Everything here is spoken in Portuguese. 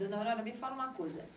Dona Aurora, me fala uma coisa.